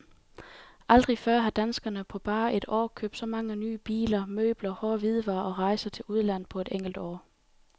Aldrig før har danskerne på bare et år købt så mange nye biler, møbler, hårde hvidevarer og rejser til udlandet på et enkelt år.